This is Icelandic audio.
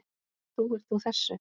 Trúir þú þessu?